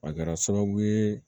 A kɛra sababu ye